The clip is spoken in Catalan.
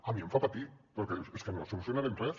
a mi em fa patir perquè dius és que no solucionarem res